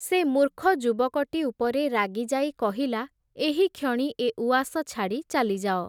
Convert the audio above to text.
ସେ ମୂର୍ଖ ଯୁବକଟି ଉପରେ ରାଗିଯାଇ କହିଲା, ଏହିକ୍ଷଣି ଏ ଉଆସ ଛାଡ଼ି ଚାଲିଯାଅ।